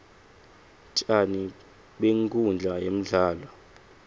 tjani benkhundla yemdlalo